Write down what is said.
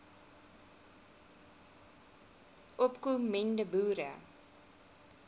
opko mende boere